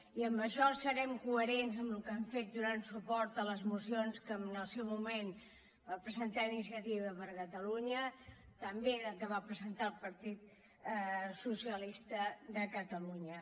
i en això serem coherents amb el que hem fet donant suport a les mocions que en el seu moment va presentar iniciativa per catalunya també que va presentar el partit socialista de catalunya